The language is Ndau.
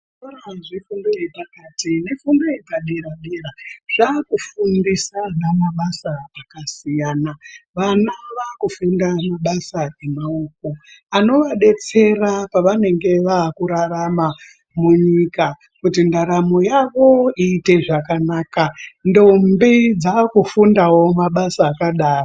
Zvikora zvefundo yepasi nefundo yepadera-dera zvakufundisa ana mabasa akasiyana -siyana. Vana vakufunda mabasa emaoko anovadetsera pavanenge vakurarama munyika kuti ndaramo yavo iite zvakanaka, ndombi dzakufundawo mabasa akadaro.